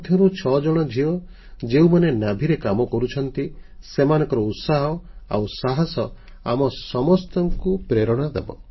ସେମାନଙ୍କ ମଧ୍ୟରୁ 6 ଜଣ ଝିଅ ଯେଉଁମାନେ ନୌସେନା Navyରେ କାମ କରୁଛନ୍ତି ସେମାନଙ୍କର ଉତ୍ସାହ ଆଉ ସାହସ ଆମ ସମସ୍ତଙ୍କୁ ପ୍ରେରଣା ଦେବ